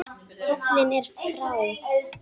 Fallinn er frá.